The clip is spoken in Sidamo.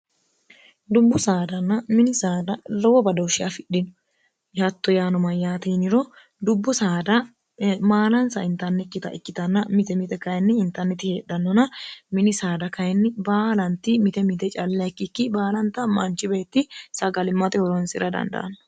dubbu saadanna mini saada rowo badoshshi afidhino yihatto yaano mayyaatiiniro dubbu saada maalansa intannekkita ikkitanna mite mite kayinni intanneti heedhannona mini saada kayinni baalanti mite mite calleikkikki baalanta maanchi beetti sagalimmoe huronsira dandaanno